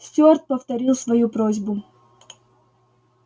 стюарт повторил свою просьбу